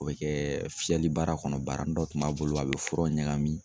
O bɛ kɛ fiyɛli baara kɔnɔ, baaranin dɔ tun b'a bolo a bɛ fura ɲagami.